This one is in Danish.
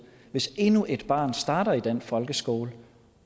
hvis endnu et barn starter i den folkeskole